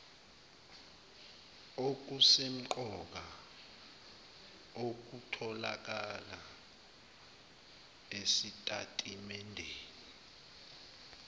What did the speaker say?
okusemqoka okutholakala esitatimendeni